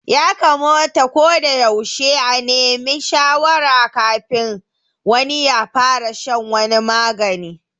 Ya kamata ko da yaushe a neme shawarar kafin wani ya fara shan wani magani